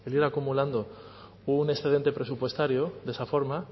un excedente presupuestario de esa forma